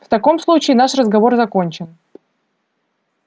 в таком случае наш разговор закончен